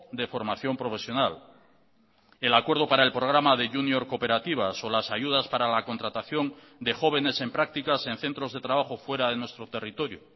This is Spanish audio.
de formación profesional el acuerdo para el programa de junior cooperativas o las ayudas para la contratación de jóvenes en prácticas en centros de trabajo fuera de nuestro territorio